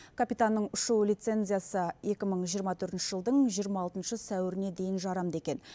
капитанның ұшу лицензиясы екі мың жиырма төртінші жылдың жиырма алтыншы сәуіріне дейін жарамды екен